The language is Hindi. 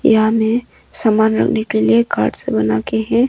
यहां में सामान रखने के लिए कार्डस बनाके है।